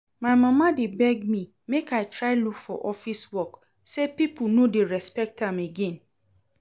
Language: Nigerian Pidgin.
My mama dey beg me make I try look for office work, say people no dey respect am again